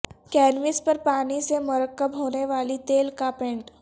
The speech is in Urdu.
کینوس پر پانی سے مرکب ہونے والی تیل کا پینٹ